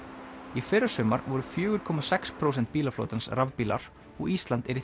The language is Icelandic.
í fyrrasumar voru fjögur komma sex prósent bílaflotans rafbílar og Ísland er í